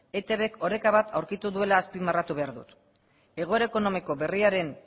eitbk oreka bat aurkitu duela azpimarratu behar dut egoera ekonomiko berriaren